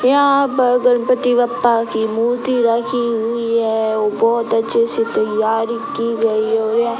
यहाँ पर गणपति बप्पा की मूर्ति रखी हुई है व बहोत अच्छे से तैयारी की गई है और यह --